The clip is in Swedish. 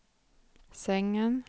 sängen